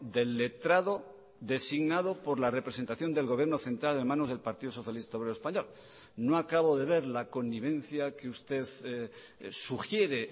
del letrado designado por la representación del gobierno central en manos del partido socialista obrero español no acabo de ver la connivencia que usted sugiere